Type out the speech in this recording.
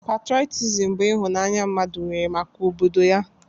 Patrọtism bụ ịhụnanya mmadụ nwere maka obodo ya.